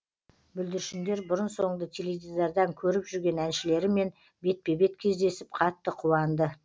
бүлдіршіндер бұрын соңды теледидардан көріп жүрген әншілерімен бетпе бет кездесіп қатты қуанды